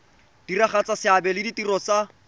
diragatsa seabe le ditiro tsa